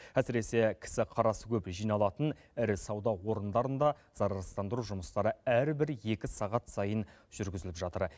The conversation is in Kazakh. әсіресе кісі қарасы көп жиналатын ірі сауда орындарында зарарсыздандыру жұмыстары әрбір екі сағат сайын жүргізіліп жатыр